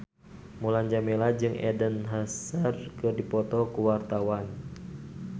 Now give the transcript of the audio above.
Mulan Jameela jeung Eden Hazard keur dipoto ku wartawan